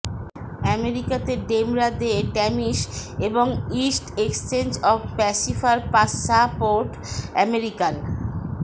আমেরিকাতে ডেমরা দে ট্র্যামিস এবং ইস্ট এক্সচেঞ্জ অফ প্যাসিফার প্যাসাপোর্ট আমেরিকান